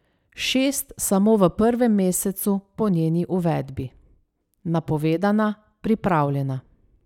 Šest samo v prvem mesecu po njeni uvedbi.